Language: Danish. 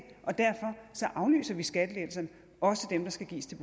og derfor aflyser vi skattelettelserne også dem der skal gives